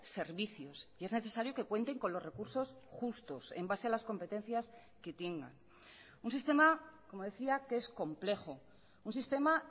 servicios y es necesario que cuenten con los recursos justos en base a las competencias que tengan un sistema como decía que es complejo un sistema